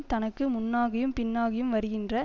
தனக்கு முன்னாகியும் பின்னாகியும் வருகின்ற